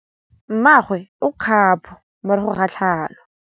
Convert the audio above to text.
Mmagwe o kgapô morago ga tlhalô.